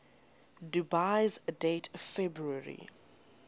dubious date february